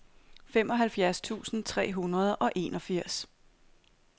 femoghalvfjerds tusind tre hundrede og enogfirs